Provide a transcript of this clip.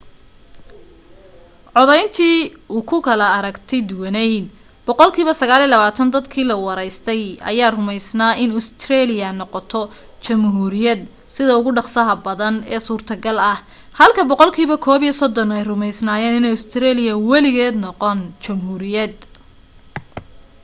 codayntii ugu kala aragti duwanayd boqolkiiba 29 dadkii la waraystay ayaa rumaysnaa in ustareeliya noqoto jamhuuriyad sida ugu dhaqsaha badan ee suurtogal ah halka boqolkiiba 31 rumaysnaayeen inaanay ustareeliya weligeed noqon jamhuuriyad